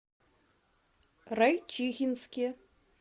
райчихинске